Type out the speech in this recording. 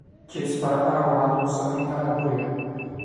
Chips baradhada waxaa lagu samayn karaa guriga.